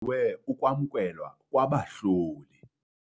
we ukwamkelwa kwabahloli.